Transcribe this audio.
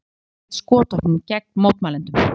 Lögregla hefur beitt skotvopnum gegn mótmælendum